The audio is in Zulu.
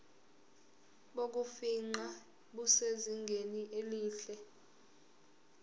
bokufingqa busezingeni elihle